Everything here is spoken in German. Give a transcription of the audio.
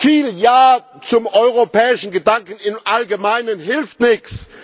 Viel Ja zum europäischen Gedanken im Allgemeinen hilft nichts.